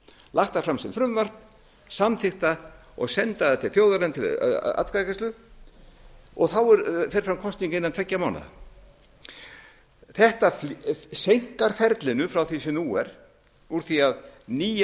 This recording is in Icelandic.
lagt það fram sem frumvarp samþykkt það og send það til þjóðarinnar til atkvæðagreiðslu þá fer fram kosning innan tveggja mánaða þetta seinkar ferlinu frá því sem nú er úr því að nýja